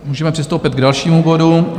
Můžeme přistoupit k dalšímu bodu